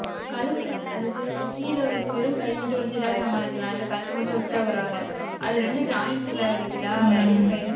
கழுத்து, அதுக்கு கீழே வலிச்சு, வெறும் கை மட்டும் வலிச்சுட்டா, சமாளிக்கலாம். இல்லை, கழுத்து மட்டும் வச்சுட்டா, பரவாயில்லை அது ரெண்டும் joint ல வலிக்குதா கழுத்தும் கையும்